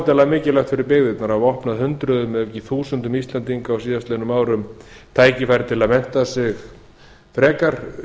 óendanlega mikilvægt fyrir byggðirnar að opna hundruðum ef ekki þúsundum íslendinga á síðastliðnum árum tækifæri til að mennta sig frekar